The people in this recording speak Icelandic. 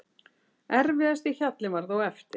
Erfiðasti hjallinn var þó eftir.